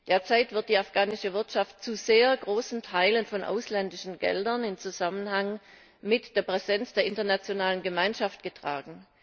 Derzeit wird die afghanische Wirtschaft zu sehr großen Teilen von ausländischen Geldern im Zusammenhang mit der Präsenz der internationalen Gemeinschaft getragen.